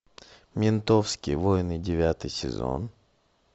ментовские войны девятый сезон